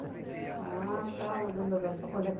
Vai lá, tal,